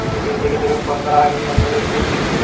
থেকে থেকে phone করা হয়নি, phone করি একটু